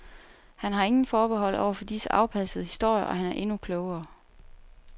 Han har ingen forbehold over for disse afpassede historier, og han er endnu klogere.